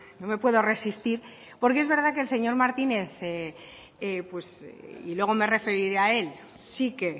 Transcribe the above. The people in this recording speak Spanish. no me puedo resistir porque es verdad que el señor martínez y luego me referiré a él sí que